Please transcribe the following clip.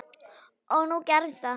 Og nú gerðist það.